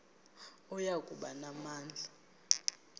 oya kuba namandla